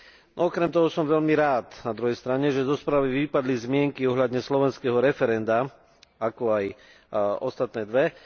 No okrem toho som veľmi rád, na druhej strane, že zo správy vypadli zmienky ohľadne slovenského referenda, ako aj ostatné dve.